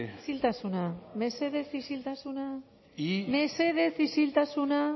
isiltasuna mesedez isiltasuna mesedez isiltasuna